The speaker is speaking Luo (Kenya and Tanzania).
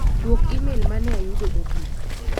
Duok imel mane ayudo mogik.